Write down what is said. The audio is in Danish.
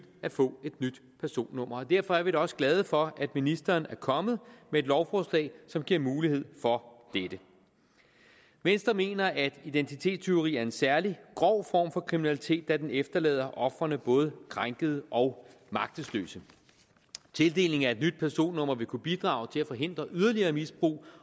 at få et nyt personnummer og derfor er vi da også glade for at ministeren er kommet med et lovforslag som giver mulighed for dette venstre mener at identitetstyveri er en særlig grov form for kriminalitet da den efterlader ofrene både krænkede og magtesløse tildelingen af et nyt personnummer vil kunne bidrage til at forhindre yderligere misbrug